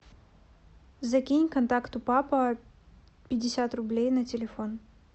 закинь контакту папа пятьдесят рублей на телефон